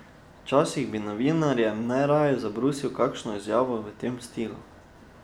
Včasih bi novinarjem najraje zabrusil kakšno izjavo v tem stilu.